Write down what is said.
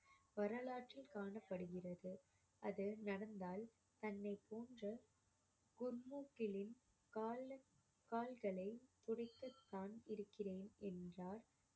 வரலாற்றில் காணப்படுகிறது அது நடந்தால் தன்னை போன்று குர்முகிலின் கால~ கால்களை துடைக்கத்தான் இருக்கிறேன் என்றார்